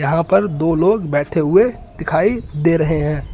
यहां पर दो लोग बैठे हुए दिखाई दे रहे हैं।